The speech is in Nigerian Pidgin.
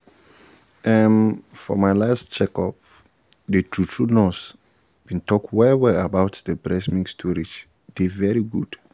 ehm for my last checkup the true-true nurse been talk well-well about why breast milk storage dey very good